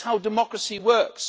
That is how democracy works.